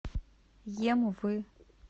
емвы